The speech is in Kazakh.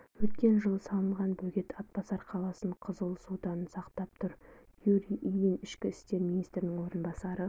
өткен жылы салынған бөгет атбасар қаласын қызыл судан сақтап тұр юрий ильин ішкі істер министрінің орынбасары